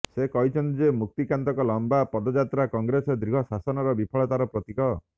ସେ କହିଛନ୍ତି ଯେ ମୁକ୍ତିକାନ୍ତଙ୍କ ଲମ୍ବା ପଦଯାତ୍ରା କଂଗ୍ରେସ ଦୀର୍ଘ ଶାସନର ବିଫଳତାର ପ୍ରତୀକ